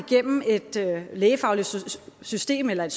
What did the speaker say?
et lægefagligt system eller